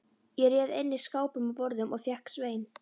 Ég réð einnig skápum og borðum og fékk Svein